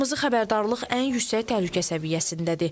Qırmızı xəbərdarlıq ən yüksək təhlükə səviyyəsindədir.